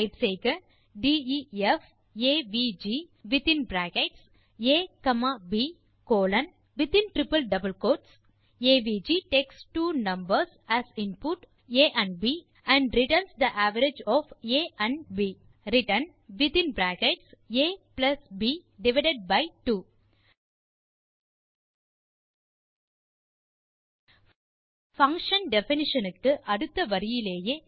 type செய்க def avg within bracket a comma b colon avg takes இரண்டு numbers as input a b மற்றும் returns the average of a மற்றும் b return within bracket ab divided by 2 function definition க்கு அடுத்த வரியிலேயே